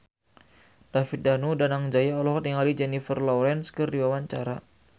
David Danu Danangjaya olohok ningali Jennifer Lawrence keur diwawancara